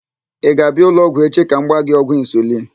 Ị ga-abịa ụlọọgwụ echi ka m gbaa gị ọgwụ insulin?